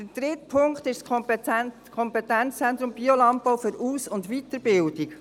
Der dritte Punkt ist das Kompetenzzentrum Biolandbau für Aus- und Weiterbildung.